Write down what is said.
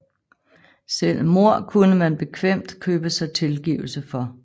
Selv mord kunne man bekvemt købe sig tilgivelse for